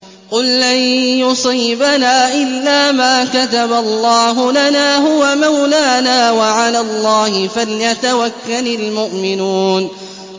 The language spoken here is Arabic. قُل لَّن يُصِيبَنَا إِلَّا مَا كَتَبَ اللَّهُ لَنَا هُوَ مَوْلَانَا ۚ وَعَلَى اللَّهِ فَلْيَتَوَكَّلِ الْمُؤْمِنُونَ